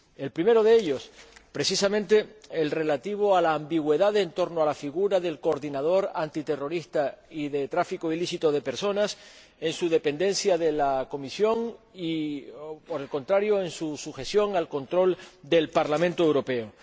El primero de ellos, precisamente el relativo a la ambigüedad en torno a la figura del coordinador antiterrorista y de tráfico ilícito de personas, en su dependencia de la Comisión y, por el contrario, en su sujeción al control del Parlamento Europeo.